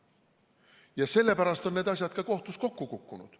Ja sellepärast on need asjad ka kohtus kokku kukkunud.